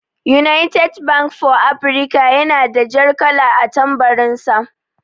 "United bank for Africa" yana da jar kala a tambarin sa.